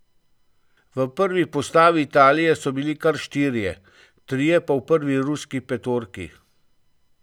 V prvi postavi Italije so bili kar štirje, trije pa v prvi ruski petorki.